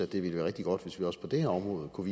det ville være rigtig godt hvis vi også på det her område kunne